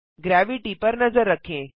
gravity पर नजर रखें